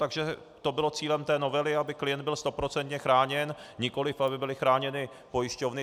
Takže to bylo cílem té novely, aby klient byl stoprocentně chráněn, nikoliv aby byly chráněny pojišťovny.